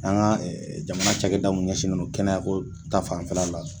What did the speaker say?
An ka jamana cakɛda mun ɲɛsinnen no kɛnɛya ko ta fanfɛla la.